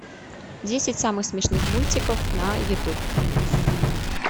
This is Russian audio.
десять самых смешных мультиков на ютуб